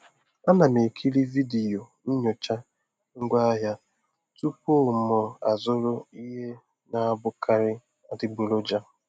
A na m ekiri vidiyo nyocha ngwaahịa tupu mụ azụrụ ihe na-abụkarị adịgboroja.